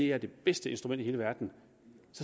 er det bedste instrument i hele verden